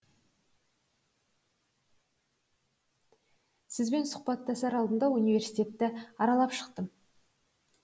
сізбен сұхбаттасар алдында университетті аралап шықтым